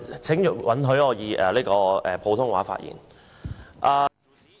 請允許我以普通話發言。